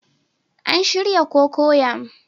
An shirya cocoyam